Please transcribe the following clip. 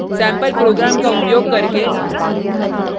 sample programs का उपयोग करके